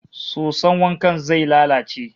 Soson wankan zai lalace